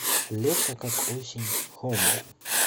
лето как осень хоуми